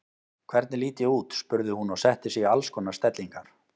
Hvernig lít ég út? spurði hún og setti sig í alls konar stellingar.